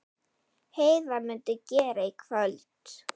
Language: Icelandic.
Heiða mundi gera í kvöld.